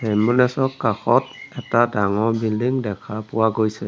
Ambulance ৰ কাষত এটা ডাঙৰ বিল্ডিং দেখা পোৱা গৈছে।